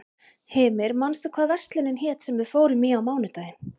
Hymir, manstu hvað verslunin hét sem við fórum í á mánudaginn?